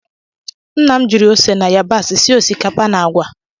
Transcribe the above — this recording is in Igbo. Nna m jiri ose na yabasị sie osikapa na agwa